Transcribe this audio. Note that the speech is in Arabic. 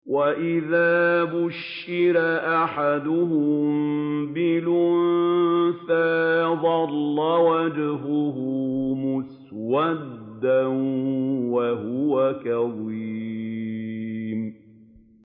وَإِذَا بُشِّرَ أَحَدُهُم بِالْأُنثَىٰ ظَلَّ وَجْهُهُ مُسْوَدًّا وَهُوَ كَظِيمٌ